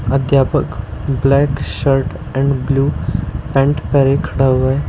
अध्यापक black shirt and blue pant पहने खड़ा हुआ है।